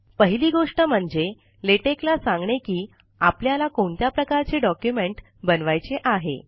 पहिली गोष्ट म्हणजे लेटेक ला सांगणे की आपल्याला कोणत्या प्रकारचे डॉक्युमेंट बनवायचे आहे